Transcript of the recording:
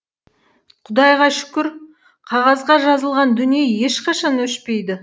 құдайға шүкір қағазға жазылған дүние ешқашан өшпейді